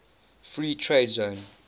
free trade zone